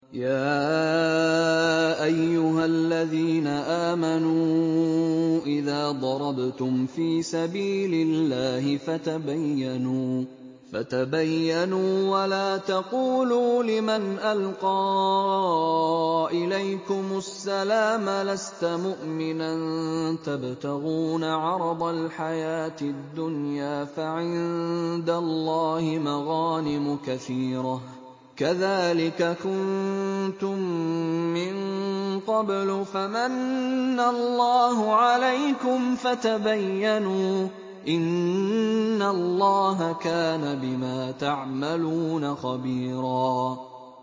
يَا أَيُّهَا الَّذِينَ آمَنُوا إِذَا ضَرَبْتُمْ فِي سَبِيلِ اللَّهِ فَتَبَيَّنُوا وَلَا تَقُولُوا لِمَنْ أَلْقَىٰ إِلَيْكُمُ السَّلَامَ لَسْتَ مُؤْمِنًا تَبْتَغُونَ عَرَضَ الْحَيَاةِ الدُّنْيَا فَعِندَ اللَّهِ مَغَانِمُ كَثِيرَةٌ ۚ كَذَٰلِكَ كُنتُم مِّن قَبْلُ فَمَنَّ اللَّهُ عَلَيْكُمْ فَتَبَيَّنُوا ۚ إِنَّ اللَّهَ كَانَ بِمَا تَعْمَلُونَ خَبِيرًا